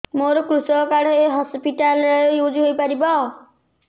ମୋର କୃଷକ କାର୍ଡ ଏ ହସପିଟାଲ ରେ ୟୁଜ଼ ହୋଇପାରିବ